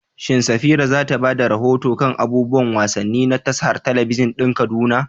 Shin Safira za ta ba da rahoto kan abubuwan wasanni na tashar talabijin ɗin Kaduna?